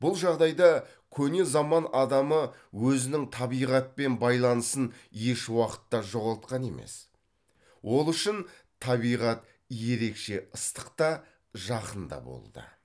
бұл жағдайда көне заман адамы өзінің табиғатпен байланысын ешуақытта жоғалтқан емес ол үшін табиғат ерекше ыстық та жақын да болды